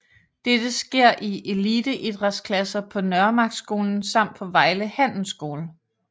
Dette sker i eliteidrætsklasser på Nørremarksskolen samt på Vejle Handelsskole